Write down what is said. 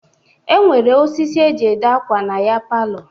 E nwere ọsịsị e jị ede akwa na ya palọ.